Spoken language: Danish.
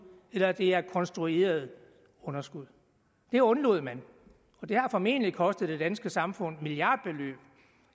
eller om det er et konstrueret underskud det undlod man og det har formentlig kostet det danske samfund milliardbeløb